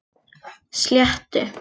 Sléttu